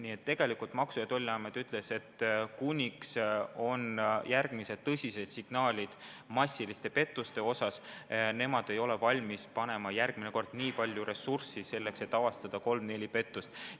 Selle peale Maksu- ja Tolliamet ütles, et kuni pole tõsiseid signaale massiliste pettuste kohta, ei ole nemad valmis kulutama nii palju ressurssi selleks, et avastada kolm-neli pettust.